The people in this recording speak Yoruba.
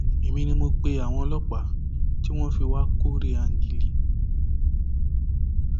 èmi ni mo pe àwọn ọlọpàá tí wọn fi wàá kóòré áńgílíì